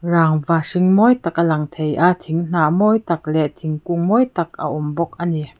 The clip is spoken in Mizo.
rangva hring mawi tak a lang theia thing hnah mawi tak leh thingkung mawi tak a awm bawk ani.